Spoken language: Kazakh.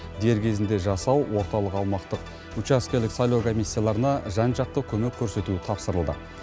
дер кезінде жасау орталық аумақтық учаскелік сайлау комиссияларына жан жақты көмек көрсету тапсырылды